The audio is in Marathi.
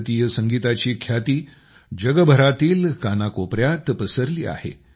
भारतीय संगीताची ख्याती जगभरातील कानाकोपर्यात पसरली आहे